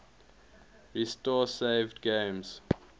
restore saved games